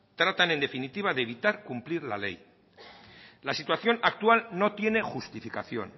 tratan en definitiva de evitar cumplir la ley la situación actual no tiene justificación